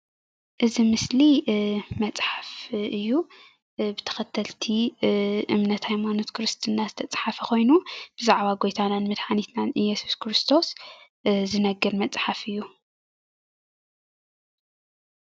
እዚ ምስሊ መፅሓፍ እዩ ብተከተልቲ እምነት ሃይማኖት ክርስትና ዝተፅሓፈ ኮይኑ ብዛዕባ ጎይታናን መድሓኒትናን እየሱስ ክርስቶስ ዝነግር መፅሓፍ እዩ ።